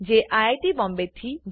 જે આઈઆઈટી બોમ્બેથી છે